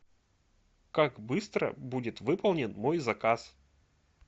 как быстро будет выполнен мой заказ